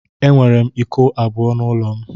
Enwere m iko abụọ n'ụlọ m.